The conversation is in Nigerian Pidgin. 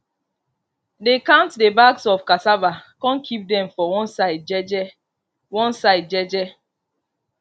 dey count the bags of cassava con keep them for one side jeje one side jeje